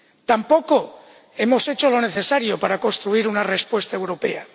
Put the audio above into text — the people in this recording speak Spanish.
Tampoco hemos hecho lo necesario para construir una respuesta europea.